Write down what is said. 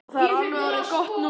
Og það er alveg orðið gott núna.